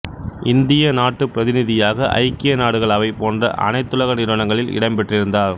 இந்திய நாட்டுப் பிரதிநிதியாக ஐக்கிய நாடுகள் அவை போன்ற அனைத்துலக நிறுவனங்களில் இடம் பெற்றிருந்தார்